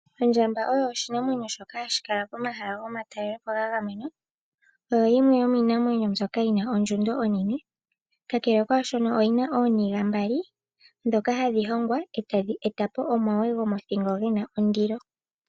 Ondjamba oyo oshinamwenyo shono hashi kala komahala gomatalelopo ga gamenwa. Oyo yimwe yomiinamwenyo mbyono yina ondjundo onene. Kakele kaashono, oyina ooniga mbali, ndhoka hadhi hongwa, e tadhi e tapo omagwe gomothingo gena ondilo.